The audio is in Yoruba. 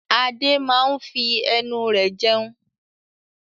Adé máa ń fi ẹnu rẹ̀ jẹun.